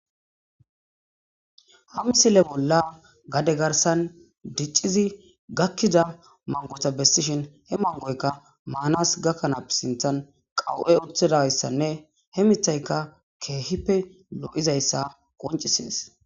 ha msile bolla gade garsan dicciddi gakkida mangota bessishin he mangoykka maanas gakkanaape sinthan qawu7e oththedayssanne he mithayka keehippe lo7izayssa qoncisees